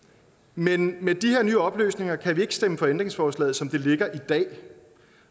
men med de her nye oplysninger kan vi ikke stemme for ændringsforslaget som det ligger i dag